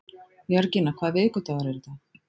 Jörgína, hvaða vikudagur er í dag?